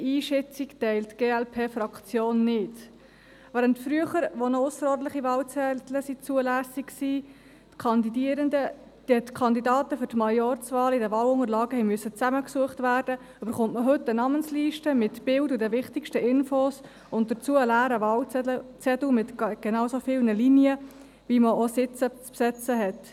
Während früher, als noch ausserordentliche Wahlzettel zulässig waren, die Kandidaten für die Majorzwahlen in deren Wahlunterlagen zusammengesucht werden mussten, erhält man heute eine Namensliste mit Bildern und den wichtigsten Informationen sowie einen leeren Wahlzettel mit genauso vielen Linien, wie es Sitze zu besetzen gibt.